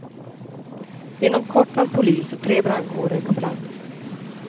Inom kort var polis och tre brandkårer på plats.